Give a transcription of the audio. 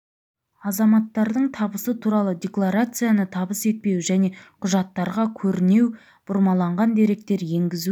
азаматтардың табысы туралы декларацияны табыс етпеуі және құжаттарға көрінеу бұрмаланған деректер енгізу